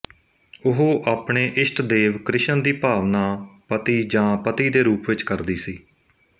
ਉਹ ਆਪਣੇ ਇਸ਼ਟਦੇਵ ਕ੍ਰਿਸ਼ਨ ਦੀ ਭਾਵਨਾ ਪਤੀ ਜਾਂ ਪਤੀ ਦੇ ਰੂਪ ਵਿੱਚ ਕਰਦੀ ਸੀ